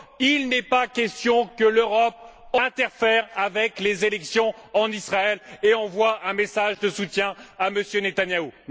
Il n'est pas question que l'Europe interfère avec les élections en Israël et envoie un message de soutien à M. Netanyahou!